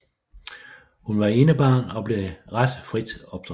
Hun var enebarn og blev ret frit opdraget